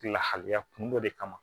Lahalaya kun dɔ de kama